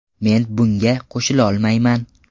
Men bunga qo‘shilolmayman.